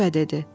və dedi: